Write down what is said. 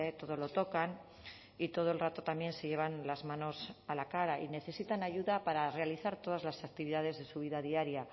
todo lo tocan y todo el rato también se llevan las manos a la cara y necesitan ayuda para realizar todas las actividades de su vida diaria